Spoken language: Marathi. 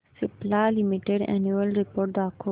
सिप्ला लिमिटेड अॅन्युअल रिपोर्ट दाखव